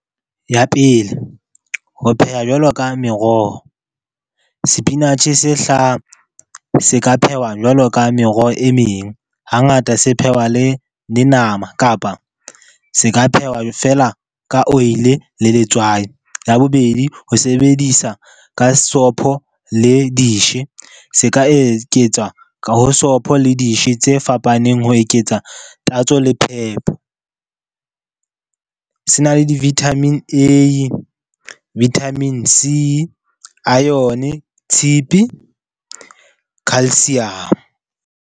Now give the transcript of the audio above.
Ya pele, ho pheha jwalo ka meroho, sepinatjhe se hlaha se ka phehwa jwalo ka meroho e meng. Hangata se phehwa le nama, kapa se ka phehwa feela ka oil-e le letswai. Ya bobedi, ho sebedisa ka sopho le . Se ka eketswa ka ho sopho le tse fapaneng ho eketsa tatso le phepo. Se na le di-Vitamin A, Vitamin C, ione, tshepe, calcium.